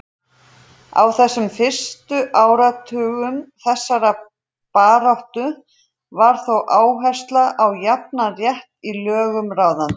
Á þessum fyrstu áratugum þessarar baráttu var þó áhersla á jafnan rétt í lögum ráðandi.